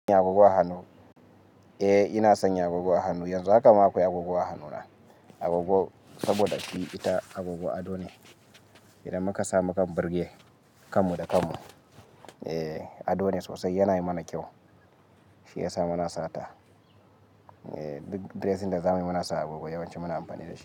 Eh ina sanya agogo a hanu, yanzu haka ma akwai agogo a hanu na agogo saboda shi ita agogo ado ne. Idan muka sa mu kan burge kanmu da kanmu. Eh ado ne sosai yana yi mana kyau, shi yasa muna sata. Eh duk dressing da zamuyi muna sa agogo yawanci muna amfani da shi.